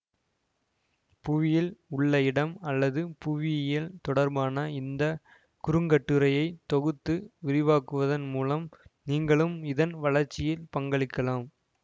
புவியில் உள்ள இடம் அல்லது புவியியல் தொடர்பான இந்த குறுங்கட்டுரையை தொகுத்து விரிவாக்குவதன் மூலம் நீங்களும் இதன் வளர்ச்சியில் பங்களிக்கலாம்